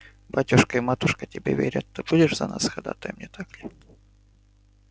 батюшка и матушка тебе верят ты будешь за нас ходатаем не так ли